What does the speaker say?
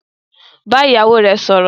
Bá ìyàwó rẹ sọ̀rọ̀